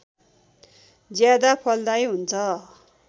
ज्यादा फलदायी हुन्छ